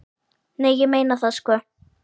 Nei, ég meina það, sko.